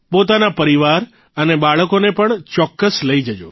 પોતાના પરિવાર અને બાળકોને પણ ચોકક્સ લઇ જજો